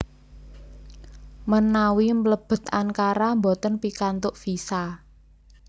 Menawi mlebet Ankara mboten pikantuk visa